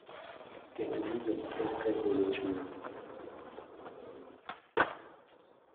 Kendo winjo maber ka igolo chunyi.